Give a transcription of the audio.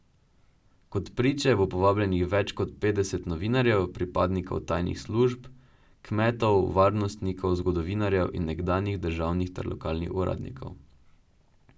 Kot priče bo povabljenih več kot petdeset novinarjev, pripadnikov tajnih služb, kmetov, varnostnikov, zgodovinarjev in nekdanjih državnih ter lokalnih uradnikov.